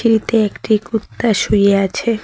সিঁড়িতে একটি কুত্তা শুয়ে আছে।